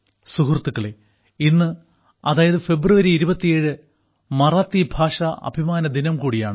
സുഹൃത്തുക്കളേ ഇന്ന് അതായത് ഫെബ്രുവരി 27 മറാത്തി ഭാഷാ അഭിമാന ദിനം കൂടിയാണ്